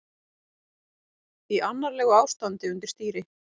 Í annarlegu ástandi undir stýri